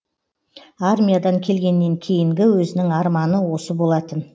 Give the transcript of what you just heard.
армиядан келгеннен кейінгі өзінің арманы осы болатын